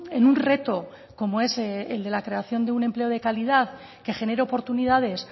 en un reto como es el de la creación de un empleo de calidad que genere oportunidades